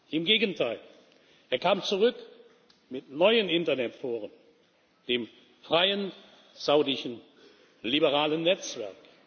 Im Gegenteil Er kam zurück mit einem neuen Internetforum, dem Freien Saudischen Liberalen Netzwerk.